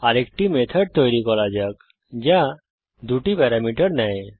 আরেকটি মেথড তৈরী করা যাক যা দুটি প্যারামিটার নেয়